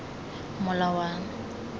molawana